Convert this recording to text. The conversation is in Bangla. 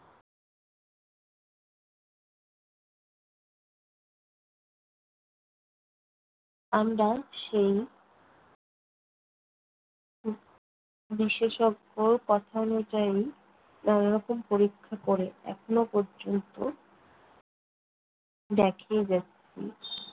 আমরা সেই উহ বিশেষজ্ঞ কথানুযায়ী নানারকম পরীক্ষা করে এখনও পর্যন্ত দেখেই যাচ্ছি।